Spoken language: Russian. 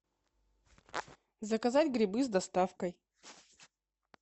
заказать грибы с доставкой